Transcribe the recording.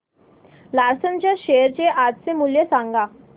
Larsen च्या share चे आजचे मूल्य सांगा